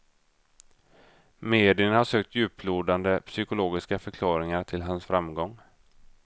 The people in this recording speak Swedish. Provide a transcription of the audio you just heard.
Medierna har sökt djuplodande psykologiska förklaringar till hans framgång.